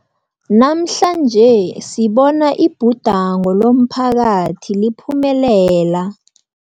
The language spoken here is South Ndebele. Namhlanje sibona ibhudango lomphakathi liphumelela.